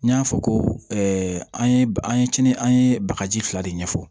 N y'a fɔ ko an ye an ye kinin an ye bagaji fila de ɲɛfɔ